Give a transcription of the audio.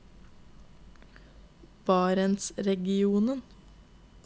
barentsregionen